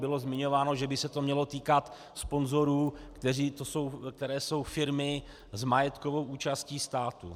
Bylo zmiňováno, že by se to mělo týkat sponzorů, což jsou firmy s majetkovou účastí státu.